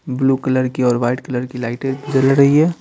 Blue colour की और white colour की लाइटे जल रही है।